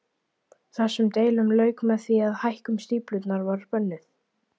Þessum deilum lauk með því að hækkun stíflunnar var bönnuð.